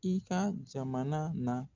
I ka jamana na